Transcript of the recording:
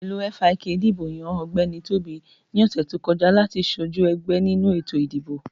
Ẹgbẹ́ òṣèlú FIK dìbò yàn Ọ̀gbẹ́ni Tóbi ní ọ̀sè tó kọjá láti sojú ẹgbẹ nínú ètò ìdìbò